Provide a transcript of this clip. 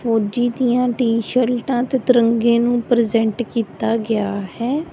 ਫੌਜੀ ਦੀਆਂ ਟੀ-ਸ਼ਰਟਾਂ ਤੇ ਤਿਰੰਗੇ ਨੂੰ ਪ੍ਰਜੈਂਟ ਕੀਤਾ ਗਿਆ ਹੈ।